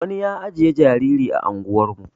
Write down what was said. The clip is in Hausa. wani ya ajiye jariri ah ungwan mu